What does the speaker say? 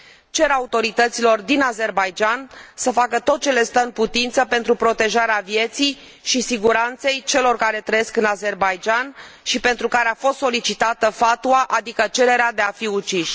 Cer autorităților din Azerbaidjan să facă tot le stă în putință pentru protejarea vieții și siguranței celor care trăiesc în Azerbaidjan și pentru care a fost solicitată fatwa, adică cererea de a fi uciși.